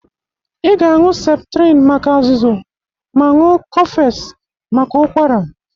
Ị ga-aṅụ septrin maka azụzụ ma ṅụ kọfes maka ụkwara.